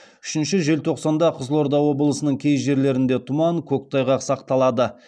үшінші желтоқсанда қызылорда облысының кей жерлерінде тұман көктайғақ сақталады